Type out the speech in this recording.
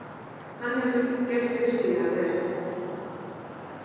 Hann hefur gert virkilega vel.